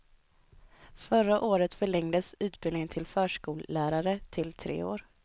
Förra året förlängdes utbildningen till förskollärare till tre år.